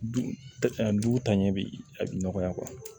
Du a du taɲɛ bi a bi nɔgɔya